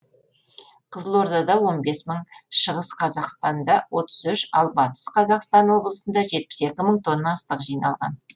қызылордада он бес мың шығыста қазақстанда отыз үш ал бастыс қазақстан облысында жетпіс екі мың тонна астық жиналған